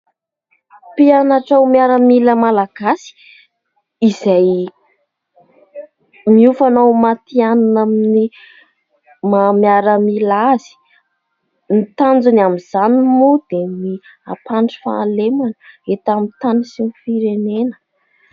Mpianatra ho miaramila Malagasy izay miofana ho matihanina amin'ny maha miaramila azy. Ny tanjony amin'izany moa dia ny hampandry fahalemana eto amin'ny tany sy ny firenena.